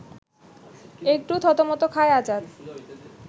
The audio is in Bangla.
একটু থতমত খায় আজাদ